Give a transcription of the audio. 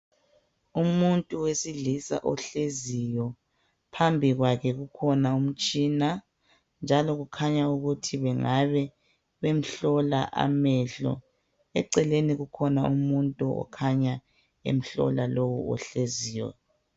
Umuntu wesilisa ohleziyo, phambi kwakhe kukhona umtshina, njalo kukhanya ukuthi bangave bemhlola amehlo, eceleni kukhona umuntu okhanya emhlola lowo ohleziyo.